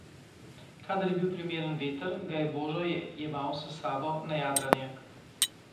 Kadar je bil primeren veter, ga je Božo jemal s sabo na jadranje.